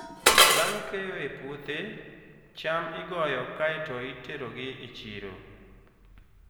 Bang' keyo e puothe, cham igoyo kae to iterogi e chiro.